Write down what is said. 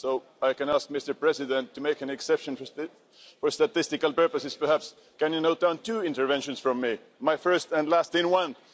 So I can ask Mr President to make an exception for statistical purposes perhaps, can you note down two interventions from me, my first and last in one?